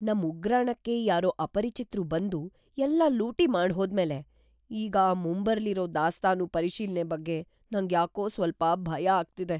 ನಮ್‌ ಉಗ್ರಾಣಕ್ಕೆ ಯಾರೋ ಅಪರಿಚಿತ್ರು ಬಂದು ಎಲ್ಲ ಲೂಟಿ ಮಾಡ್ಹೋದ್ಮೇಲೆ ಈಗ‌ ಮುಂಬರ್ಲಿರೋ ದಾಸ್ತಾನು ಪರಿಶೀಲ್ನೆ ಬಗ್ಗೆ ನಂಗ್ಯಾಕೋ ಸ್ವಲ್ಪ ಭಯ ಆಗ್ತಿದೆ.